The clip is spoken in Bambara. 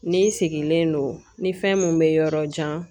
Ni n sigilen don ni fɛn mun be yɔrɔ jan